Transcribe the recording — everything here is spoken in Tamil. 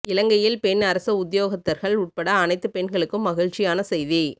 இலங்கையில் பெண் அரச உத்தியோகத்தர்கள் உட்பட அனைத்து பெண்களுக்கும் மகிழ்ச்சியான செய்தி